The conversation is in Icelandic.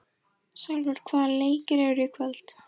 Salvör, hvaða leikir eru í kvöld?